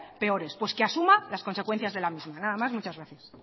perores pues que asuma las consecuencias de la misma nada más muchas gracias